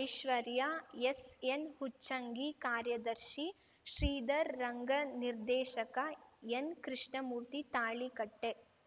ಐಶ್ವರ್ಯ ಎಸ್‌ಎನ್‌ಹುಚ್ಚಂಗಿ ಕಾರ್ಯದರ್ಶಿ ಶ್ರೀಧರ್‌ ರಂಗನಿರ್ದೇಶಕ ಎನ್‌ಕೃಷ್ಣಮೂರ್ತಿ ತಾಳಿಕಟ್ಟೆ